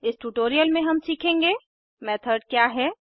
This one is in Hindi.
इस ट्यूटोरियल में हम सीखेंगे मेथड क्या है160